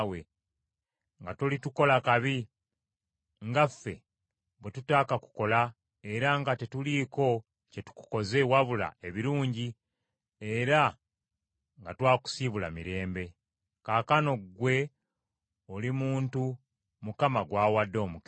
nga tolitukola kabi, nga ffe bwe tutaakakukola era nga tetuliiko kye tukukoze, wabula ebirungi era nga twakusiibula mirembe.’ Kaakano gwe oli muntu Mukama gw’awadde omukisa.”